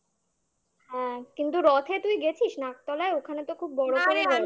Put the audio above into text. হ্যাঁ কিন্তু রথে তুই গেছিস নাকতলায় ওখানে তো খুব বড়